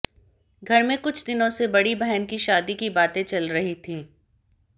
घर में कुछ दिनों से बड़ी बहन की शादी की बातें चल रही थीं